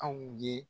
Anw ye